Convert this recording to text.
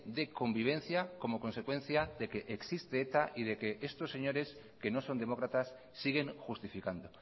de convivencia como consecuencia de que existe eta y de que estos señores que no son demócratas siguen justificando